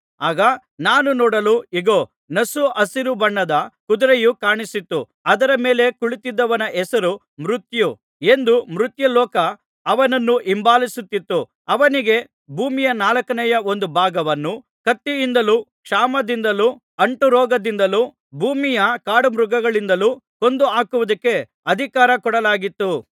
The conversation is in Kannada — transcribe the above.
ಆಗ ನಾನು ನೋಡಲು ಇಗೋ ನಸು ಹಸಿರು ಬಣ್ಣದ ಕುದುರೆಯು ಕಾಣಿಸಿತು ಅದರ ಮೇಲೆ ಕುಳಿತಿದ್ದವನ ಹೆಸರು ಮೃತ್ಯು ಎಂದು ಮೃತ್ಯುಲೋಕ ಅವನನ್ನು ಹಿಂಬಾಲಿಸುತ್ತಿತ್ತು ಅವನಿಗೆ ಭೂಮಿಯ ನಾಲ್ಕನೇ ಒಂದು ಭಾಗವನ್ನು ಕತ್ತಿಯಿಂದಲೂ ಕ್ಷಾಮದಿಂದಲೂ ಅಂಟುರೋಗದಿಂದಲೂ ಭೂಮಿಯ ಕಾಡುಮೃಗಗಳಿಂದಲೂ ಕೊಂದುಹಾಕುವುದಕ್ಕೆ ಅಧಿಕಾರ ಕೊಡಲಾಗಿತ್ತು